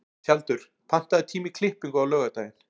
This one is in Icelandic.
Tjaldur, pantaðu tíma í klippingu á laugardaginn.